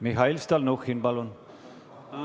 Mihhail Stalnuhhin, palun!